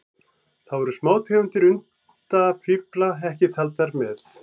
Þá eru smátegundir undafífla ekki taldar með.